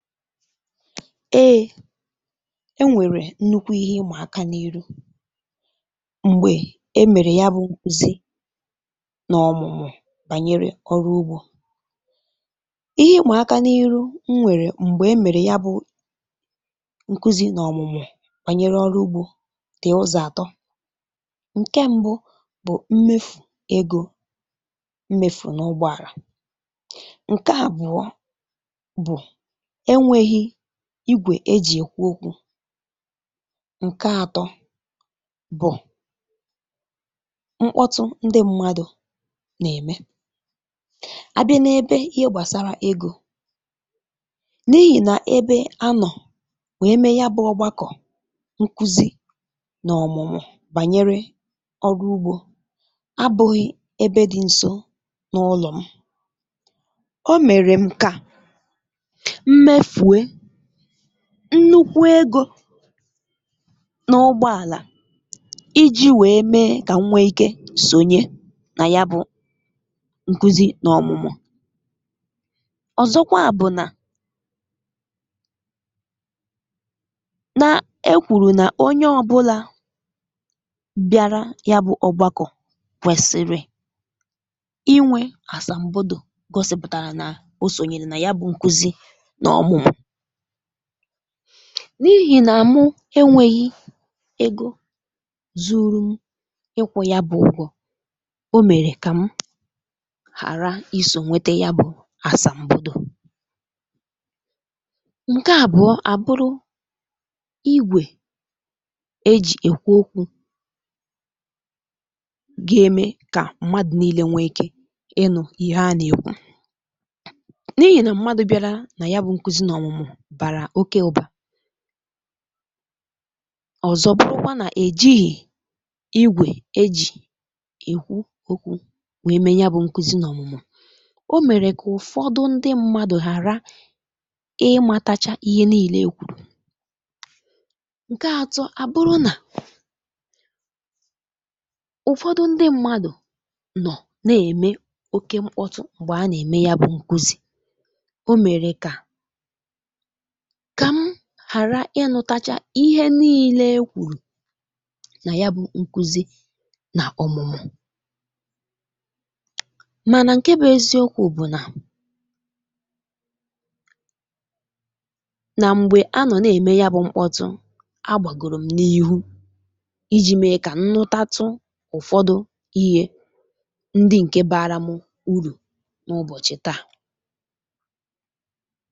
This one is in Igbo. Ee enwèrè nnukwu ihe ịmà aka n’iru m̀gbè e mèrè ya bụ̇ ṅ̀kuzi n’ọ̀mụ̀mụ̀ bànyere ọrụ ugbȯ. Ihe ịm̀a aka n’ihu m nwèrè m̀gbè e mèrè ya bụ nkuzi nà ọ̀mụ̀mụ̀ bànyere ọrụ ugbȯ dị ụzọ̀ àt; ǹke m̀bụ bụ̀ mmefù egȯ mmefù n’ụgbọàrà, ǹke àbụ̀ọ bụ enweghị igwè e jì èkwu okwu̇, ǹke àtọ bụ̀ mkpọtụ ndị ṁmȧdụ̀ nà-ème. A bịa n’ebe ihe gbàsàra egȯ n’ihì nà ebe anọ̀ we me ya bụ̇ ọgbakọ̀ nkuzì nà ọ̀mụ̀mụ̀ bànyere ọrụ ugbȯ abụghị̇ ebe dị̇ ǹso n’ụlọ̀ m, o mèrè m kà mmefue nnukwu egȯ n’ụgbọ àlà iji̇ wèe mee kà m nwee ike sonye nà ya bụ nkuzi nà ọmụmụ̀. Ọ́zọkwa bụ̀ nà na-ekwùrù nà onye ọ̇bụ̇là bịara ya bụ ọ̀gbakọ̀ kwèsìrì inwè àsàm̀bodo gọsị̇pụ̀tàrà nà o sonyere nà ya bụ nkuzi nà ọmụ̀mụ, n’ihì nà mụ enwėghi̇ egȯ zuru ṁ ikwụ ya bụ̀ ugwọ̇, o mèrè kà m ghàra isò nwete ya bụ̀ àsàm̀bodo. Ǹke àbụọ àbụrụ, igwè e jì èkwu okwu̇ ga-eme kà mmadụ̀ niilė nwee ike ịnụ̇ ihe a nà-èkwu, n'ihi na mmadụ biarà na ya bu nkuzi na ọmụmụ bara okė ụbà, ọ̀zọ bụrụkwa nà èjighì igwè ejì èkwu okwu̇ wèe mee ya bụ̇ nkuzi na ọ̀mụ̀mụ̀, o mèrè kà ụ̀fọdụ ndị mmadụ̀ ghàra ịmȧtȧcha ihe niile ekwùrù, nke àtọ abụrụ nà ụ̀fọdụ ndị mmadụ̀ nọ̀ na-ème oke mkpọtụ m̀gbè a nà-ème ya bụ̇ nkuzi, o mèrè kà ka m gharà inùtachà ihe niilė ekwùrù nà ya bụ̇ nkuzi nà ọ̀mụ̀mụ̀, manà ǹke bụ̇ eziokwù bụ̀ nà, nà m̀gbè anọ̀ na-ème ya bụ̇ mkpọtụ agbàgòrò m̀ n'ihu iji̇ mee kà nnụtàtụ ụ̀fọdụ ihė ndị ǹke baraṁ urù n’ụbọ̀chị̀ taa.